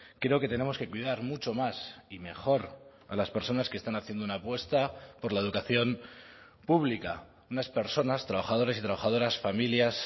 creo que tenemos que cuidar mucho más y mejor a las personas que están haciendo una apuesta por la educación pública unas personas trabajadores y trabajadoras familias